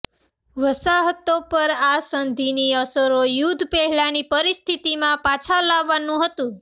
વસાહતો પર આ સંધિની અસરો યુદ્ધ પહેલાંની પરિસ્થિતિમાં પાછા લાવવાનું હતું